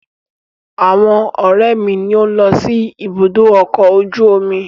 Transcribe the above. Àwọn ọ̀rẹ́ mi ni ó ń lọ sí ibùdó ọkọ̀ ojú omi.